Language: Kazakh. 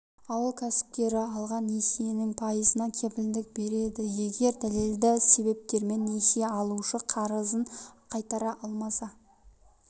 ауыл кәсіпкері алған несиенің пайызына кепілдік береді егер дәлелді себептермен несие алушы қарызын қайтара алмаса